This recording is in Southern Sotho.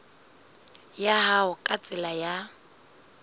ya hao ka tsela ya